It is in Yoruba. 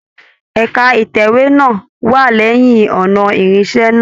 Ẹka itẹwe náà wà lẹyìn ọnà ìrìnṣẹ̀ náà.